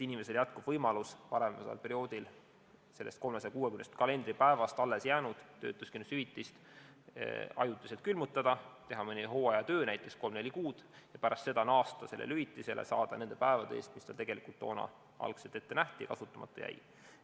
Inimesel püsib võimalus varem oleval perioodil sellest 360 kalendripäevast alles jäänud töötuskindlustushüvitist ajutiselt külmutada, teha mõnda hooajatööd, näiteks kolm-neli kuud, ja pärast seda naasta sellele hüvitisele, saada seda nende päevade eest, mis tal tegelikult algselt ette nähti ja mis kasutamata jäi.